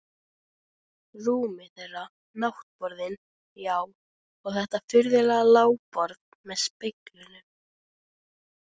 Rúmið þeirra, náttborðin, já, og þetta furðulega lágborð með speglunum.